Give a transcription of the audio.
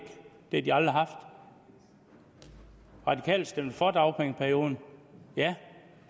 har de aldrig haft de radikale stemte for dagpengeperiode